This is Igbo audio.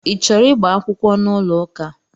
I chọrọ ịgba akwụkwọ n'ụlọ ụka?